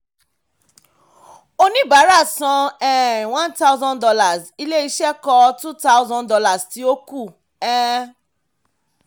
oníbàárà san um one thousand dollars ilé-iṣẹ́ kọ two thousand dollars tí ó kù um